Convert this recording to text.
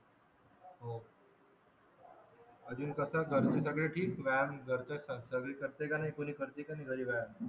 अजून कसा घरचे सगळे ठीक व्यायाम सगळे करते की नाही कोणी करते का नाही